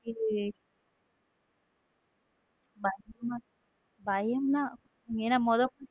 இத பயம் பயம்னா என்ன.